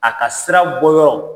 A ka sira bɔyɔrɔ